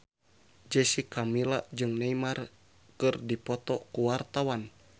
Jessica Milla jeung Neymar keur dipoto ku wartawan